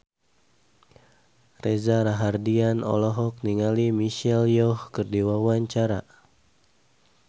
Reza Rahardian olohok ningali Michelle Yeoh keur diwawancara